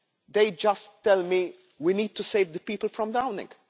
They just tell me that we need to save the people from drowning.